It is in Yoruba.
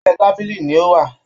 Abẹ́ tábìlì ni ó wà